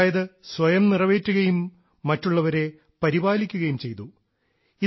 അതായത് സ്വയം നിറവേറ്റുകയും മറ്റുള്ളവരെ പരിപാലിക്കുകയും ചെയ്തു